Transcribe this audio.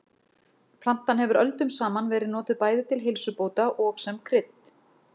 Plantan hefur öldum saman verið notuð bæði til heilsubóta og sem krydd.